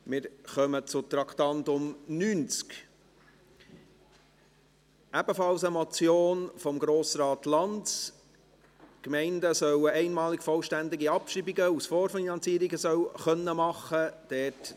Wir kommen zum Traktandum 90, ebenfalls eine Motion von Grossrat Lanz, mit der die Gemeinden einmalig vollständige Abschreibungen aus Vorfinanzierungen sollen machen können.